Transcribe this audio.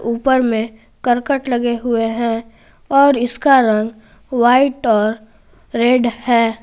ऊपर में करकट लगे हुए हैं और इसका रंग व्हाइट और रेड है।